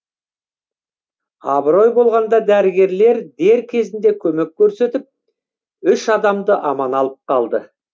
абырой болғанда дәрігерлер дер кезінде көмек көрсетіп үш адамды аман алып қалды